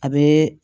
A bɛ